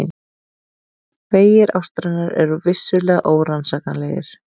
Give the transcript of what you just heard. Vegir ástarinnar eru vissulega órannsakanlegir.